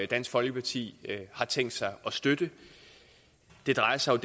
dansk folkeparti har tænkt sig at støtte det drejer sig